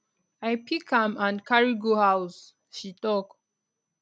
i pick am and carry go house she tok